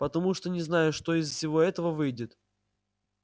потому что не знаю что из всего этого выйдет